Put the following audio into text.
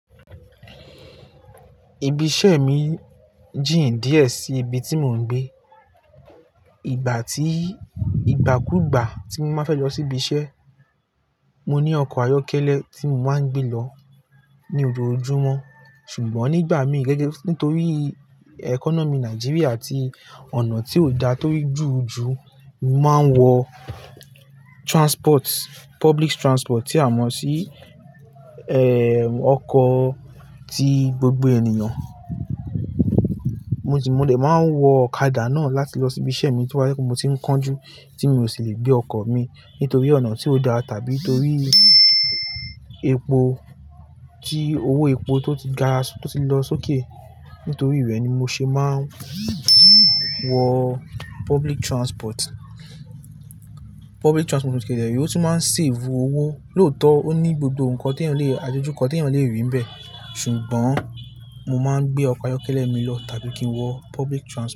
Ibi iṣẹ́ mi jìn díẹ̀ sí ibi tí mò ń gbé. Ìgbà tí ìgbàkúùgbà tí mo máa fẹ́ lọ sí ibi iṣẹ́, mo ní ọkọ̀ ayọ́kẹ́lẹ́ tí mo máa ń gbé lọ ní ojojúmọ́. Ṣùgbọ́n nígbà mí ì nítorí economy Nigeria àti ọ̀nà tí ò dá, torí jurùjuru, mo máa ń wọ public transport tí a mọ̀ sí, ọkọ̀ tí gbogbo ènìyàn. Mo dẹ̀ máa ń wọ ọ̀kadà náà láti lọ sí ibi iṣẹ́ mi tí wọ́n bá fẹ́ kí mo ti ń kánjú tí mi ò sì lè gbé ọkọ̀ mi nítorí ọ̀nà tí ò da tàbí nítorí epo, tí owó epo tó ti o gara, tó ti lọ sókè. Nítorí rẹ ni mo ṣe máa ń wọ public transport. Public transport ní kédé rẹ̀ ò tún máa ń save owó. Lóótọ́, ó ní gbogbo nǹkan teyán le, àdòjú kò teyán le rí bẹ̀. Ṣùgbọ́n mo máa ń gbé ọkọ̀ ayọ́kẹ́lẹ́ mi lọ tàbí kí n wọ public trans.